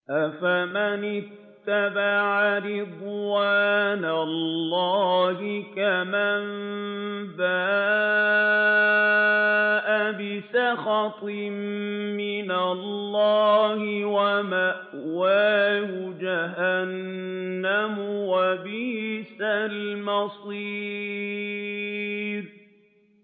أَفَمَنِ اتَّبَعَ رِضْوَانَ اللَّهِ كَمَن بَاءَ بِسَخَطٍ مِّنَ اللَّهِ وَمَأْوَاهُ جَهَنَّمُ ۚ وَبِئْسَ الْمَصِيرُ